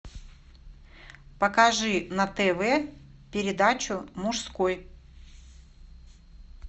покажи на тв передачу мужской